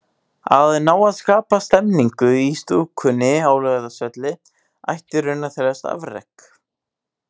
Að ná að skapa stemningu í stúkunni á Laugardalsvelli ætti í raun að teljast afrek.